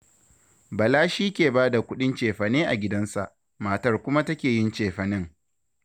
Bala shi ke ba da kuɗin cefane a gidansa, matar kuma take yin cefanen